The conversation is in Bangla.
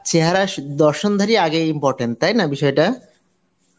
চেহারা স~ দর্শনধারী আগে important, তাই না বিষয়টা?